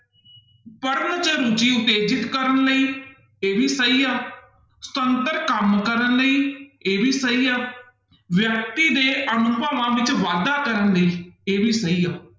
ਪੜ੍ਹਨ ਚ ਰੁੱਚੀ ਉਤੇਜਿਤ ਕਰਨ ਲਈ, ਇਹ ਵੀ ਸਹੀ ਆ, ਸੁਤੰਤਰ ਕੰਮ ਕਰਨ ਲਈ, ਇਹ ਵੀ ਸਹੀ ਆ, ਵਿਅਕਤੀ ਦੇ ਅਨੁਭਵਾਂ ਵਿੱਚ ਵਾਧਾ ਕਰਨ ਲਈ ਇਹ ਵੀ ਸਹੀ ਆ।